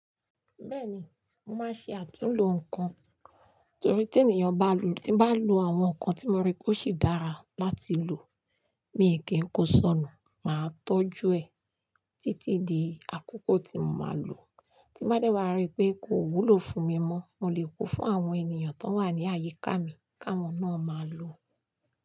Bẹ́ẹ̀ni, màá ṣe àtúnlò ǹkan, torí tí ènìyàn bá lò, tí n bá lò àwọn nǹkan tí mo rí pe ó sì dára láti lò, mi o kí ń kó sọnù, màá tọ́jú ẹ̀ títí di àkókò tí mo máa lò. Tí bá dẹ́wàá rí pé kò wúlò fún mi mọ́, mo lè kó fún àwọn ènìyàn tó wà ní àyíká mi kí àwọn náà máa lò ọ́